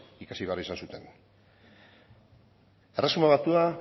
ikasi behar izan zuten erresuma batua